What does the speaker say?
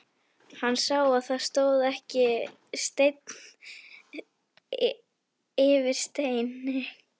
Hann sá að það stóð ekki steinn yfir steini.